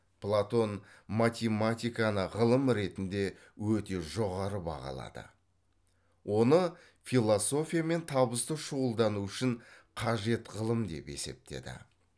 платон математиканы ғылым ретінде өте жоғары бағалады оны философиямен табысты шұғылдану үшін қажет ғылым деп есептеді